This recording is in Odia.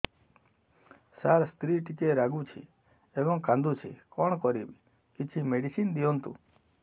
ସାର ସ୍ତ୍ରୀ ଟିକେ ରାଗୁଛି ଏବଂ କାନ୍ଦୁଛି କଣ କରିବି କିଛି ମେଡିସିନ ଦିଅନ୍ତୁ